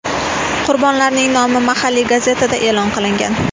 Qurbonlarning nomi mahalliy gazetada e’lon qilingan.